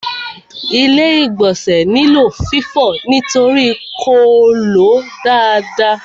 Ilé-ìgbọ̀nsẹ̀ nílò fífọ̀ nítorí kò ló dáadáa.